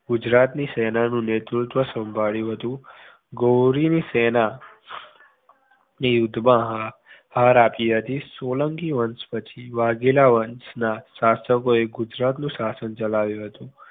ગુજરાત ની સેનાનું નેતૃત્વ સંભાળ્યું હતુ ગૌરી ની સેનાએ યુદ્ધમાં હાર આપી હતી સોલંકી વંશ પછી વાઘેલા વંશના શાસકો એ ગુજરાત નું શાસન ચલાવ્યું હતું